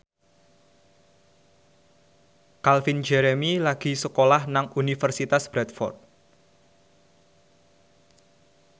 Calvin Jeremy lagi sekolah nang Universitas Bradford